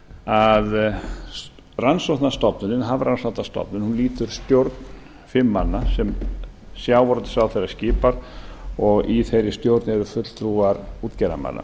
að rannsóknastofnunin hafrannsóknastofnun lýtur stjórn fimm manna sem sjávarútvegsráðherra skipar og í þeirri stjórn eru fulltrúar útgerðarmanna